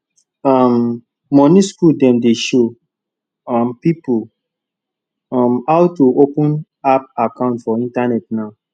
um money school dem dey show um pipo um how to open app account for internet now